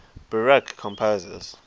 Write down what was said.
baroque composers